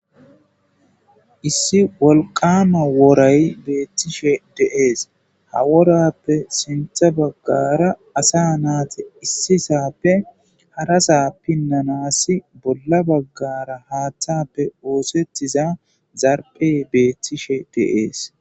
Issi wolqama woray beettishe dees. Ha worappe sintha baggara asa naati issisappe harasa pinnanasi bolla baggara haaththappe oosettiza zarphey beethtishe dees.